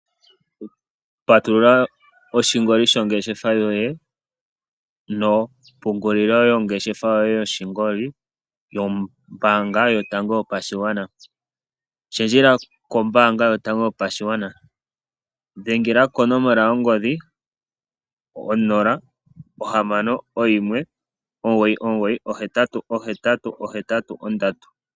Patulula oshingoli shongeshefa yoye nokupungulila ongeshefa yoye yoshingoli yombanga yotango yopashigwana. Shendjela kombanga yotango yopashigwana, dhengela konomola yo ngodhi 061 2998883.